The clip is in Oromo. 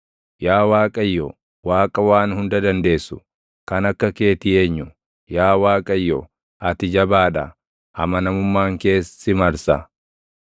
Yaa Waaqayyo, Waaqa Waan Hunda Dandeessu, // kan akka keetii eenyu? Yaa Waaqayyo, ati jabaa dha; amanamummaan kees si marsa.